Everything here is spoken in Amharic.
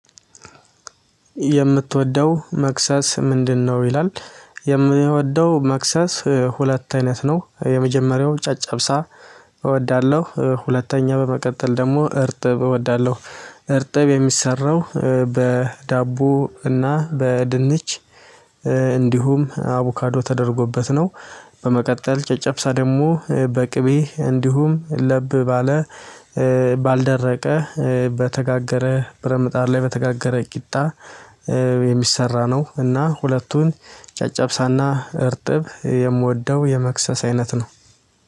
የምትወደው መክሰስ ምንድነው? ይላል የምወደው መክሰስ ሁለት አይነት ነው የመጀመሪያው ጨጨብሳ እወዳለሁ ሁለተኛ በመቀጠል ደግሞ አርጥብ እወዳለሁ። አርጥብ የሚሰራው በዳቦ እና በድንች እንድሁም አቡካዶ ተደርጎበት ነው። በመቀጠል ጨጨብሳ ደግሞ በቅቤ እንዲሁም ለብ ባለ ባልደረቀ በተጋገረ ብረትምጣድ ላይ በተጋገረ ቂጣ የሚሰራ ነው። እና ሁለቱን ጨጨብሳና እርጥብ የምወደው የመክሰስ አይነት ነው።